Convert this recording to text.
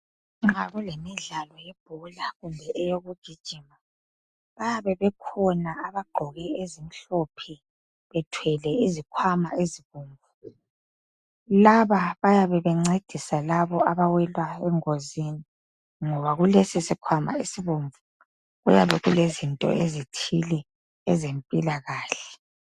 Nxa kulemidlalo yebhola kumbe eyokugijima bayabe bekhona abagqoke ezimhlophe bethwele izikhwama ezinengi laba bayabe bencedisa labo abawela engozini ngoba kulesi isikhwama esibomvu kuyabe kulezinto ezithile ezempila kahle